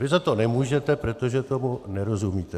Vy za to nemůžete, protože tomu nerozumíte.